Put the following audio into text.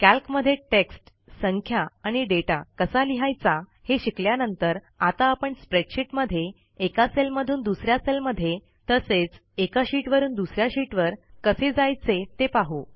कॅल्कमध्ये text संख्या आणि data कसा लिहायचा हे शिकल्यानंतर आता आपण स्प्रेडशीटमध्ये एका सेलमधून दुस या सेलमध्ये तसेच एका शीटवरून दुस या शीटवर कसे जायचे ते पाहू